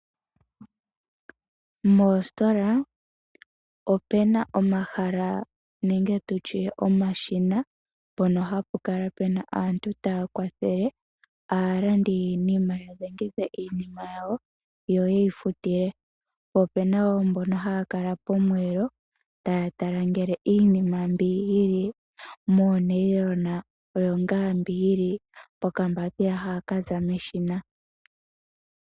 Moositola ope na omahala nenge tu tye omashina mpono hapu kala pu na aantu taya kwathele aalandi yiinima ya dhengithe iinima yawo yo ye yi futile. Po ope na wo mbono haya kala pomweelo taya tala ngele iinima mbi yi li moonayilona oyo ngaa mbi yi li pokambapila ha kaza meshina.